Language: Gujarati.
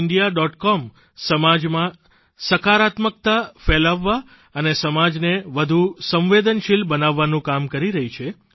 com સમાજમાં સકારાત્મકતા ફેલાવવા અને સમાજને વધુ સંવેદનશીલ બનાવવાનું કામ કરી રહી છે